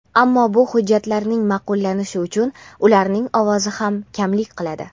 ammo bu hujjatning ma’qullanishi uchun ularning ovozi ham kamlik qiladi.